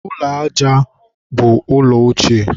ụlọ aja ụrọ bụ ụlọ ochie.